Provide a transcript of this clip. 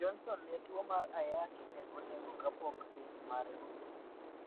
Johnson ne tuo mar ayaki ne onego kapok kes mare orumo.